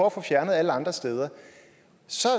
at få fjernet alle andre steder